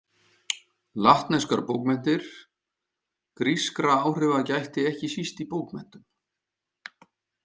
Latneskar bókmenntir Grískra áhrifa gætti ekki síst í bókmenntum.